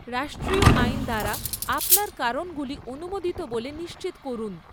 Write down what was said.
রাষ্ট্রীয় আইন দ্বারা আপনার কারণগুলি অনুমোদিত বলে নিশ্চিত করুন।